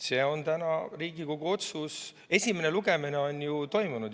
See on täna Riigikogu otsus, esimene lugemine on ju juba toimunud.